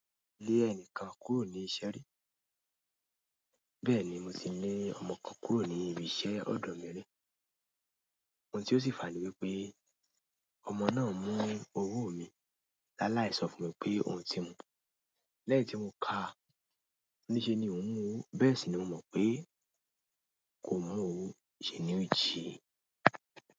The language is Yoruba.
Lé ẹnìkan kúrò ní iṣẹ́ rí. Bẹ́ẹ̀ni mo ti lé ọmọ kan kúrò ní ibi iṣẹ́ ọ̀dọ̀ mi rí. Ohun tí ó sì fàní wípé ọmọ náà mú owó mi láláì sọ fún mi pé ohun ti mu. Lẹ́yìn tí mo kà á ní ṣe ni òun mú owó, bẹ́ẹ̀ sì ni mo mọ̀ pé kò mú owó iṣẹ́ ni ó jí i.